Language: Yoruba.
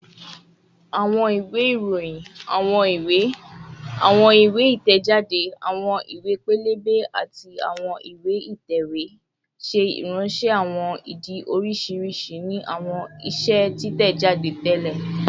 Awọn iwe iroyin, awọn iwe, awọn iwe iroyin, awọn iwe itẹjade, awọn iwe pẹlẹbẹ, ati awọn iwe itẹwe ṣe iranṣẹ awọn idi oriṣiriṣi ni awọn iṣe titẹjade tẹlẹ